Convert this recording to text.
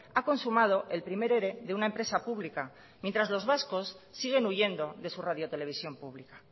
ha consumado el primer ere de una empresa pública mientras los vascos siguen huyendo de su radio televisión pública